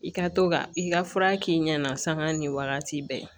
I ka to ka i ka fura k'i ɲɛna saga ni wagati bɛɛ